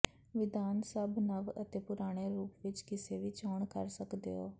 ਵਿਧਾਨ ਸਭ ਨਵ ਅਤੇ ਪੁਰਾਣੇ ਰੂਪ ਵਿੱਚ ਕਿਸੇ ਵੀ ਚੋਣ ਕਰ ਸਕਦੇ ਹੋ